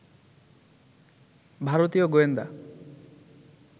ভারতীয় গোয়েন্দা